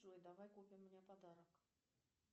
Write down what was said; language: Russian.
джой давай купим мне подарок